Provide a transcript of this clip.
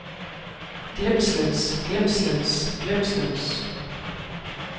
glemslens glemslens glemslens